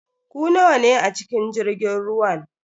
Ku nawa ne a cikin jirgin ruwan?